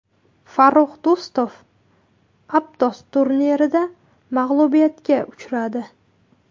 Farrux Do‘stov Aptos turnirida mag‘lubiyatga uchradi.